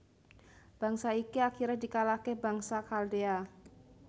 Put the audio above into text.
Bangsa iki akhire dikalahke bangsa Khaldea